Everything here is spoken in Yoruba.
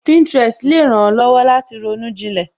Pinterest le ran ó lọ́wọ́ láti ronú jinlẹ